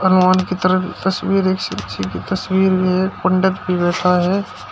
भगवान की तरफ तस्वीर एक किसी के तस्वीर में पंडित भी बैठा हुआ है।